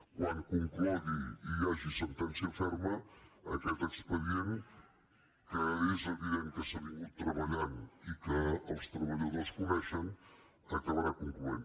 quan conclogui i hi hagi sentència ferma aquest expedient que és evident que s’ha treballat i que els treballadors coneixen acabarà concloent